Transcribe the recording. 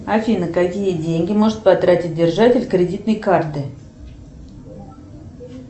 афина какие деньги может потратить держатель кредитной карты